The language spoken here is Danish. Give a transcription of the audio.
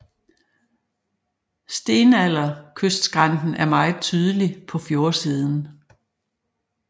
Stenalderkystskrænten er meget tydelig på fjordsiden